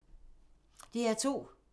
DR2